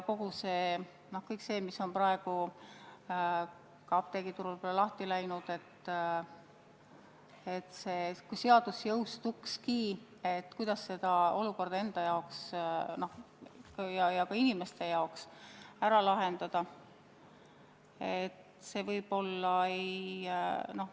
Kõik see, mis on praegu apteegiturul lahti läinud – me teame, et kui seadus jõustukski, siis see olukorda ettevõtjate ega ka inimeste jaoks ära ei lahendaks.